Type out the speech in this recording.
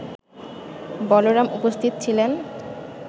বলরাম উপস্থিত ছিলেন